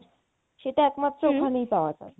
হম সেটা একমাত্র ওখানেই পাওয়া যায়